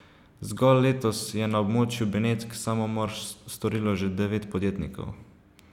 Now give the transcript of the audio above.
Zgolj letos je na območju Benetk samomor storilo že devet podjetnikov.